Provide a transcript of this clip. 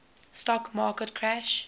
stock market crash